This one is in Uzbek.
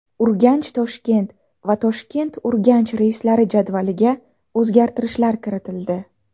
UrganchToshkent va ToshkentUrganch reyslari jadvaliga o‘zgartirishlar kiritildi.